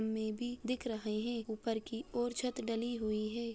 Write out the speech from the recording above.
में भी दिख रहे हैं ऊपर की और छत डली हुई है।